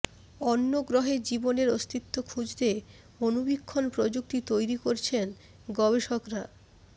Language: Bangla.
অন্য গ্রহে জীবনের অস্তিত্ব খুঁজতে অণুবীক্ষণ প্রযুক্তি তৈরি করছেন গবেষকরা